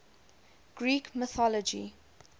greek mythology